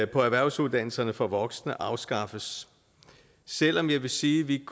på erhvervsuddannelserne for voksne afskaffes selv om jeg vil sige at vi